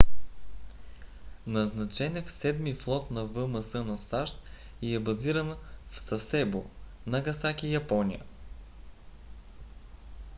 назначен е в седми флот на вмс на сащ и е базиран в сасебо нагасаки япония